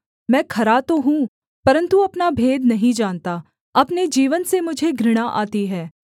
मैं खरा तो हूँ परन्तु अपना भेद नहीं जानता अपने जीवन से मुझे घृणा आती है